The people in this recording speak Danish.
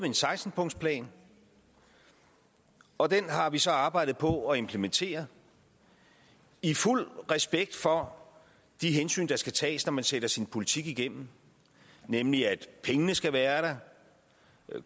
en seksten punktsplan og den har vi så arbejdet på at implementere i fuld respekt for de hensyn der skal tages når man sætter sin politik igennem nemlig at pengene skal være der